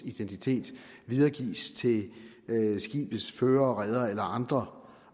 identitet videregives til skibets fører reder eller andre